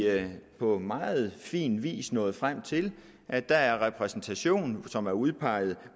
på meget fin vis nået frem til at der er en repræsentation som er udpeget af